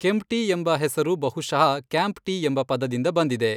ಕೆಂಪ್ಟಿ ಎಂಬ ಹೆಸರು ಬಹುಶಃ 'ಕ್ಯಾಂಪ್ ಟೀ' ಎಂಬ ಪದದಿಂದ ಬಂದಿದೆ.